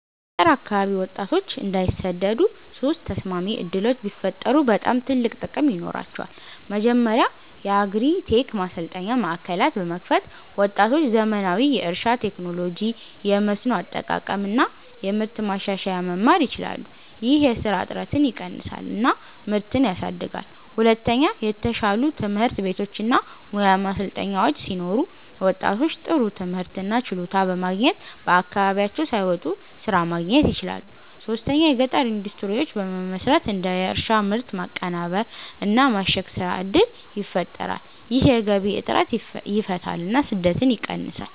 በገጠር አካባቢ ወጣቶች እንዳይሰደዱ ሶስት ተስማሚ ዕድሎች ቢፈጠሩ በጣም ትልቅ ጥቅም ይኖራቸዋል። መጀመሪያ የአግሪ-ቴክ ማሰልጠኛ ማዕከላት በመክፈት ወጣቶች ዘመናዊ የእርሻ ቴክኖሎጂ፣ የመስኖ አጠቃቀም እና የምርት ማሻሻያ መማር ይችላሉ። ይህ የስራ እጥረትን ይቀንሳል እና ምርትን ያሳድጋል። ሁለተኛ የተሻሉ ትምህርት ቤቶች እና ሙያ ማሰልጠኛዎች ሲኖሩ ወጣቶች ጥሩ ትምህርት እና ችሎታ በማግኘት ከአካባቢያቸው ሳይወጡ ስራ ማግኘት ይችላሉ። ሶስተኛ የገጠር ኢንዱስትሪዎች በመመስረት እንደ የእርሻ ምርት ማቀናበር እና ማሸግ ስራ እድል ይፈጠራል። ይህ የገቢ እጥረትን ይፈታል እና ስደትን ይቀንሳል።